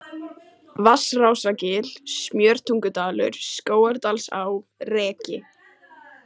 Vatnsrásargil, Smjörtungudalur, Skógardalsá, Reki